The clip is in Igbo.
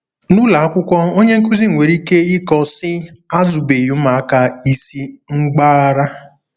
N'ụlọ akwụkwọ onye nkụzi nwere ike ịkọ, sị, ' Azụbeghị ụmụaka ịsị mgbaghara. '